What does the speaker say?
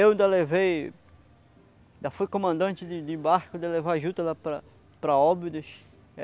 Eu ainda levei, ainda fui comandante de de barco de levar juta lá para para Óbidos.